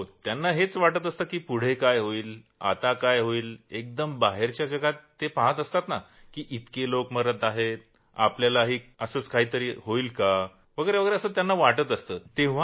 त्यांना हेच वाटत असंत की पुढं काय होईल आता काय होईल एकदम बाहेरच्या जगात ते पाहत असतात की इतके लोक मरत आहेत आपल्याही बाबतीत असंच होईल का असं त्यांना वाटतं